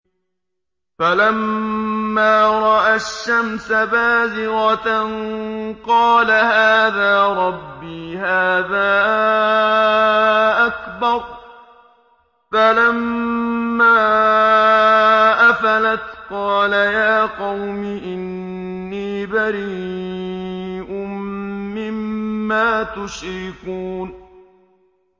فَلَمَّا رَأَى الشَّمْسَ بَازِغَةً قَالَ هَٰذَا رَبِّي هَٰذَا أَكْبَرُ ۖ فَلَمَّا أَفَلَتْ قَالَ يَا قَوْمِ إِنِّي بَرِيءٌ مِّمَّا تُشْرِكُونَ